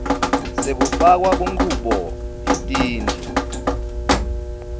sekufakwa kunchubo yetindlu